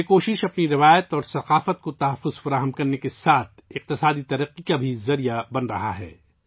یہ کوشش ہماری روایت اور ثقافت کے تحفظ کے ساتھ ساتھ معاشی ترقی کا ذریعہ بھی بن رہی ہے